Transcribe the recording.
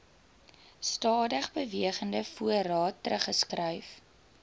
stadigbewegende voorraad teruggeskryf